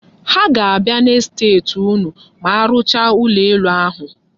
Ha ga-abịa n'estet unu ma arụchaa ụlọ elu ahụ.